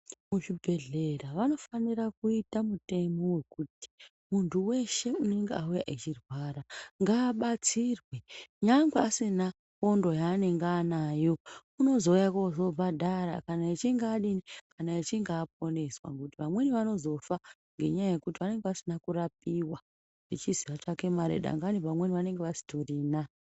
Muzvibhedhlera vanofanire kuita mutemo wekuti muntu weshe unenge auya echirwara ngaabatsirwe nyangwe asina pondo yaanenge anayo unozouya kozoobhadhara kana achinge adi, kana achinge aponeswa ngekuti vamweni vanozofa ngenyaya yekutivanenge vasina kurapiwa ngenyaya yemare vamweni vanenge vasitorina.